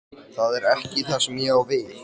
Það er ekki það sem ég á við.